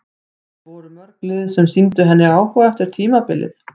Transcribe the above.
En voru mörg lið sem sýndu henni áhuga eftir tímabilið?